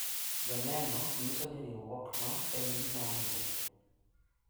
Joneno nyiso ni riwruokno en gima owinjore.